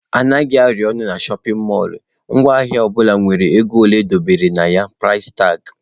Anaghị arụ ọnụ na shọpin mọlụ, ngwa ahịa ọbụla nwere ego ole e dobere ya(price tag).